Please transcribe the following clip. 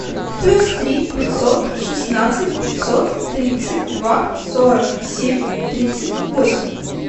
плюс три пятьсот шестнадцать пятьсот тридцать два сорок семь тридцать восемь